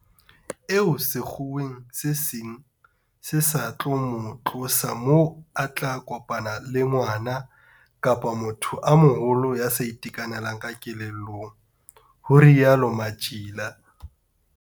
Eo sekgeong se seng se sa tlo mo tlosa moo a tla kopana le ngwana kapa motho e moholo ya sa itekanelang kelellong, ho rialo Matjila.